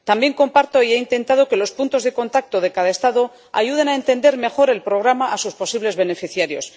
También comparto, y he intentado, que los puntos de contacto de cada Estado ayuden a entender mejor el programa a sus posibles beneficiarios.